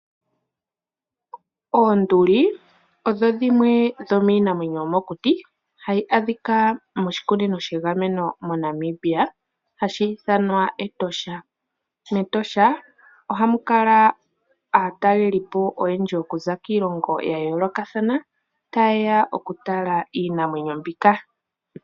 Oonduli odho dhimwe dhomiinamwenyo yomokuti , hayi adhika moshikunino shagamenwa moNamibia, hashi ithanwa Etosha National Park . Ohamu kala aatalelipo oyendji okuza kiilongo yayoolokathana, tayeya okutala iinamwenyo mbika.